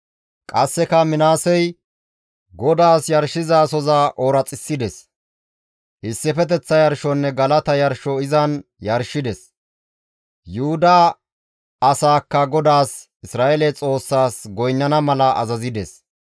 Qasseka Minaasey GODAAS yarshizasoza ooraxissides; issifeteththa yarshonne galata yarsho izan yarshides; Yuhuda asaakka GODAAS Isra7eele Xoossaas goynnana mala azazides.